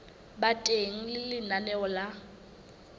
ba teng ha lenaneo la